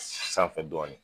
Sanfɛi dnin